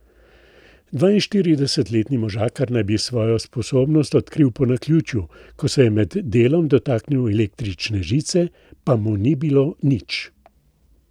Dvainštiridesetletni možakar naj bi svojo sposobnost odkril po naključju, ko se je med delom dotaknil električne žice, pa mu ni bilo nič.